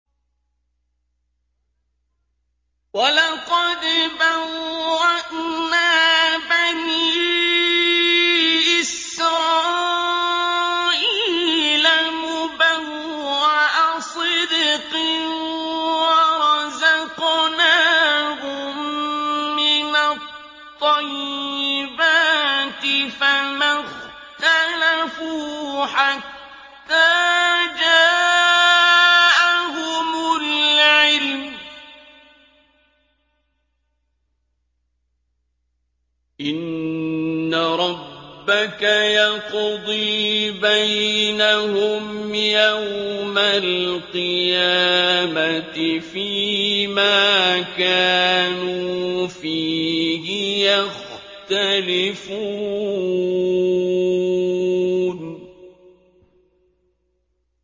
وَلَقَدْ بَوَّأْنَا بَنِي إِسْرَائِيلَ مُبَوَّأَ صِدْقٍ وَرَزَقْنَاهُم مِّنَ الطَّيِّبَاتِ فَمَا اخْتَلَفُوا حَتَّىٰ جَاءَهُمُ الْعِلْمُ ۚ إِنَّ رَبَّكَ يَقْضِي بَيْنَهُمْ يَوْمَ الْقِيَامَةِ فِيمَا كَانُوا فِيهِ يَخْتَلِفُونَ